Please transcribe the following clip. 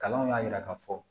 Kalanw y'a yira ka fɔ